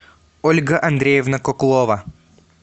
ольга андреевна коклова